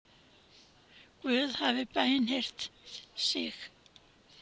Guð hafi bænheyrt sig